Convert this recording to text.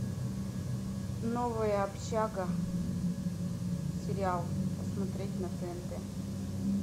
новая общага сериал посмотреть на тнт